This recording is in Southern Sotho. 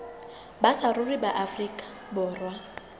ba saruri ba afrika borwa